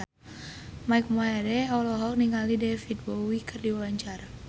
Mike Mohede olohok ningali David Bowie keur diwawancara